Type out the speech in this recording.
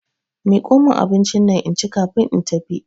Miko min abincinnan inci kafin in tafi.